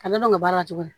A bɛ dɔn o baara cogo di